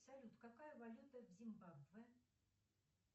салют какая валюта в зимбабве